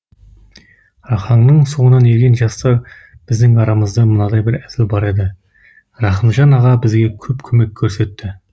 рахаңның соңынан ерген жастар біздің арамызда мынадай бір әзіл бар еді рахымжан аға бізге көп көмек көрсетті